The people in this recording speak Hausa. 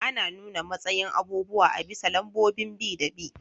Ana nuna matsayin abubuwa a bisa lambobin bi da bi.